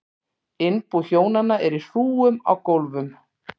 Innbú hjónanna er í hrúgum á gólfum.